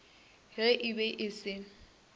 ge e be e se